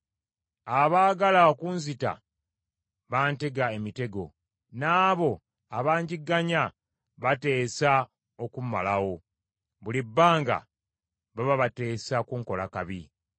Abaagala okunzita bantega emitego, n’abo abangigganya bateesa okummalawo. Buli bbanga baba bateesa kunkola kabi.